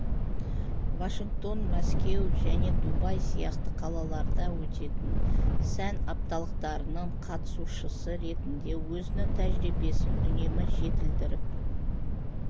вашингтон мәскеу және дубай сияқты қалаларда өтетін сән апталықтарының қатысушысы ретінде өзінің тәжірибесін үнемі жетілдіріп